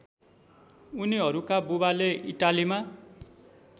उनीहरूका बुबाले इटालीमा